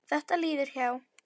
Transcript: Þetta líður hjá.